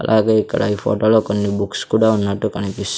అలాగే ఇక్కడ ఈ ఫోటోలో కొన్ని బుక్స్ కూడా ఉన్నట్టు కనిపిస్ .